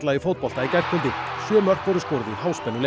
í gærkvöldi sjö mörk voru skoruð í